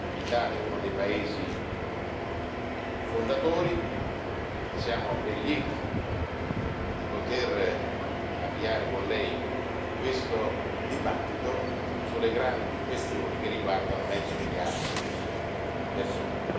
L'Italia è uno dei paesi fondatori e siamo ben lieti di poter avviare con Lei questo dibattito sulle grandi questioni che riguardano mezzo miliardo di persone.